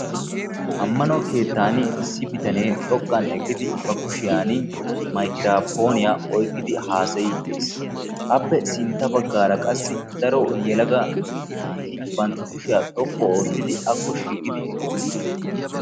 Ammano keettaan issi bitanee xoqqan eqqidi ba kushiyan maykiraapooniya oykkidi haasayiiddi dees. Appe sintta baggaara qassi daro yelaga naati bantta kushiya xoqqu oottidi akko shiiqidi eqqidosona.